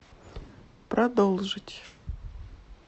продолжить